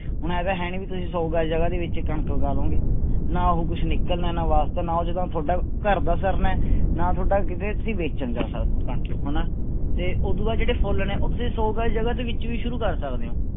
ਹੁਣ ਇਉਂ ਤਾਂ ਹੈ ਨੀ ਵੀ ਤੁਸੀਂ ਸੌ ਗਜ ਜਗ੍ਹਾ ਦੇ ਵਿੱਚ ਕਣਕ ਉਗਾ ਲਓਗੇ, ਨਾ ਉਹ ਕੁਛ ਨਿਕਲਣਾ ਹੈ ਨਾ ਵਾਸਤਾ ਨਾ ਉਹ ਤੁਹਾਡਾ ਘਰਦਾ ਸਰਨਾ ਹੈ ਨਾ ਤੁਹਾਡਾ ਕਿਤੇ ਤੁਸੀਂ ਵੇਚਣ ਜਾ ਸਕਦੇ ਹੋ ਕਣਕ ਨੂੰ ਹਨਾ ਤੇ ਉਦੂ ਬਾਅਦ ਜਿਹੜੇ ਫੁੱਲ ਨੇ ਉਹ ਤੁਸੀਂ ਸੌ ਗਜ ਜਗ੍ਹਾ ਦੇ ਵਿੱਚ ਵੀ ਸ਼ੁਰੂ ਕਰ ਸਕਦੇ ਹੋ।